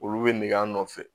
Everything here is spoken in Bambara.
Olu bɛ nɛgɛ nɔfɛ